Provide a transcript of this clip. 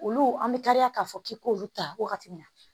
Olu an bɛ kariya k'a fɔ k'i k'olu ta wagati min na